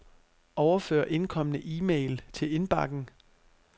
Overfør indkomne e-mail til indbakken.